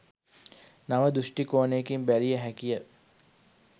නව දෘෂ්ටි කෝණයකින් බැලිය හැකිය